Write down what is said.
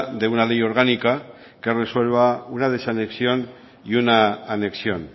de una ley orgánica que resuelva una desanexión y una anexión